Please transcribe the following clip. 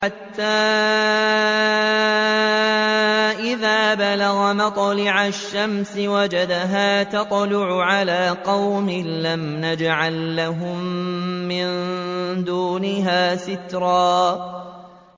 حَتَّىٰ إِذَا بَلَغَ مَطْلِعَ الشَّمْسِ وَجَدَهَا تَطْلُعُ عَلَىٰ قَوْمٍ لَّمْ نَجْعَل لَّهُم مِّن دُونِهَا سِتْرًا